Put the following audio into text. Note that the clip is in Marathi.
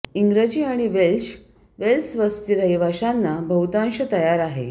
इंग्रजी आणि वेल्श वेल्स वस्ती रहिवाशांना बहुतांश तयार आहे